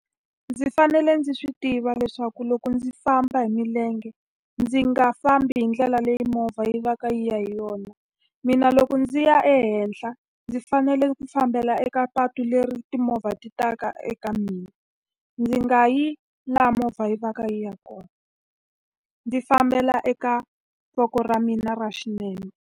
Ndzi fanele ndzi swi tiva leswaku loko ndzi famba hi milenge ndzi nga fambi hi ndlela leyi movha yi va ka yona. Mina loko ndzi ya ehenhla, ndzi fanele ku fa fambela eka patu leri timovha ti taka eka mina. Ndzi nga yi laha movha yi va ka yi ya kona, ndzi fambela eka voko ra mina ra xinene.